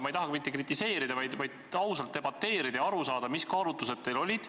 Ma ei taha kritiseerida, vaid ausalt debateerida ja aru saada, mis kaalutlused teil olid.